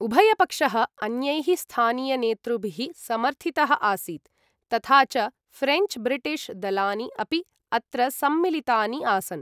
उभयपक्षः अन्यैः स्थानीयनेतृभिः समर्थितः आसीत्, तथा च फ्रेञ्च् ब्रिटिश् दलानि अपि अत्र सम्मिलितानि आसन्।